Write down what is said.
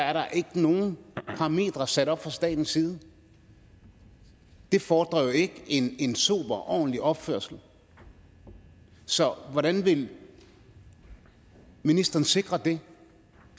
er der ikke nogen parametre sat op fra statens side det fordrer jo ikke en en sober ordentlig opførsel så hvordan vil ministeren sikre det